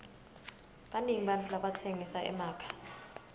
banengi bantfu labatsengisa emakha